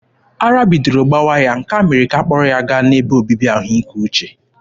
Ara bidoro gbawa ya, nke a mere ka ha kpọrọ ya gaa n'ebe obibi ahụike uche.